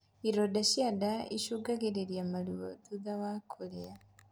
Ironda cia ndaa icungagĩrĩria maruo thutha wa kurĩa